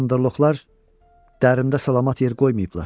Bandarloqlar dərimdə salamat yer qoymayıblar.